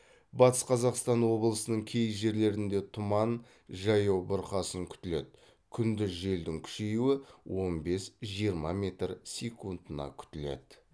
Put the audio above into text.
батыс қазақстан облысының кей жерлерінде тұман жаяу бұрқасын күтіледі күндіз желдің күшеюі он бес жиырма метр секундына күтіледі